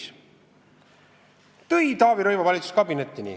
See toodi Taavi Rõivase valitsuskabinetti.